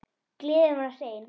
Gleðin var hrein.